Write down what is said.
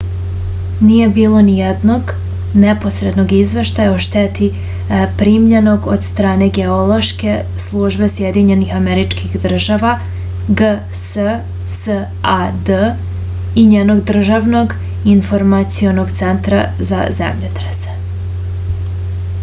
није било ниједног непосредног извештаја о штети примљеног од стране геолошке службе сједињених америчких држава гссад и њеног државног информационог центра за земљотресе